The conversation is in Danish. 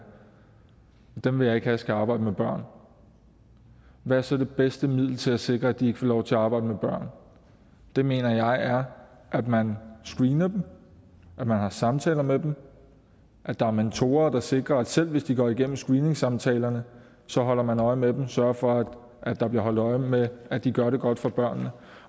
dem vil jeg ikke have skal arbejde med børn hvad er så det bedste middel til at sikre at de ikke får lov til at arbejde med børn det mener jeg er at man screener dem at man har samtaler med dem at der er mentorer der sikrer at selv hvis de går igennem screeningssamtalerne så holder man øje med dem altså sørger for at der bliver holdt øje med at de gør det godt for børnene